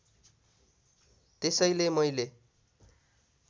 त्यसैले मैले